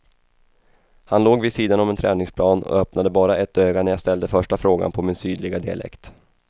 Han låg vid sidan om en träningsplan och öppnade bara ett öga när jag ställde första frågan på min sydliga dialekt.